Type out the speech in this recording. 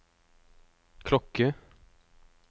klokke